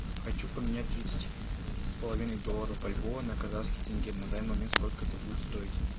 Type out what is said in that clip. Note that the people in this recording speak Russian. хочу поменять тридцать с половиной долларов бальбоа на казахский тенге на данный момент сколько это будет стоить